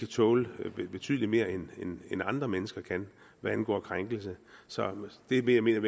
tåle betydelig mere end andre mennesker kan hvad angår krænkelser så det er det jeg mener